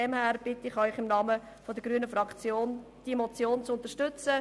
Daher bitte ich Sie im Namen der grünen Fraktion, diese Motion zu unterstützen.